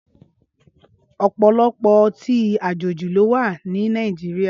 Ọpọlọpọ ọtin àjéji ló wà ni Nàijiriá